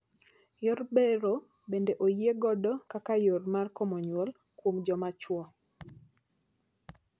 Yor bero bende oyie godo kaka yoo mar komo nyuol kuom joma chwo.